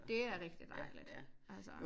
Dét er det. Det dejligt altså